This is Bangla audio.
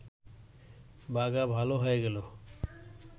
বাঘা ভাল হয়ে গেল